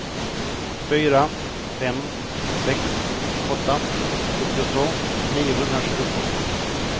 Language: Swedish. fyra fem sex åtta sjuttiotvå niohundratjugotvå